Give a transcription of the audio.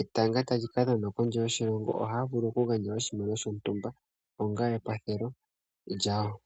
etango tali kadhanwa kondje yoshilongo ohaya vulu okugandja oshimaliwa shontumba onga ekwathelo lyawo